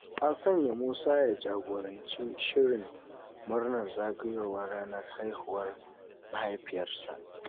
An sanya Musa ya jagoranci shirin murnar zagayowar ranar haihuwar mahaifiyarsa.